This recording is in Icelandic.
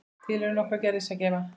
Til eru nokkrar gerðir skema.